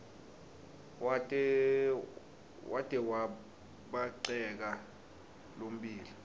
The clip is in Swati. wate wabhaceka lommbila